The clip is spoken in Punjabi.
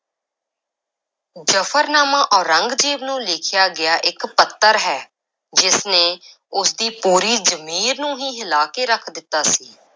ਜ਼ਫ਼ਰਨਾਮਾ ਔਰੰਗਜ਼ੇਬ ਨੂੰ ਲਿਖਿਆ ਗਿਆ ਇੱਕ ਪੱਤਰ ਹੈ, ਜਿਸ ਨੇ ਉਸਦੀ ਪੂਰੀ ਜ਼ਮੀਰ ਨੂੰ ਹੀ ਹਿਲਾ ਕੇ ਰੱਖ ਦਿੱਤਾ ਸੀ।